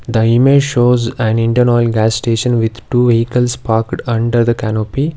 The image shows an indian oil gas station with two vehicles parked under the canopy.